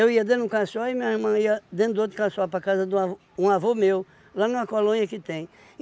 ia dentro de um caçoar e minha irmã ia dentro de outro caçoar para casa de um avô um avô meu, lá numa colônia que tem.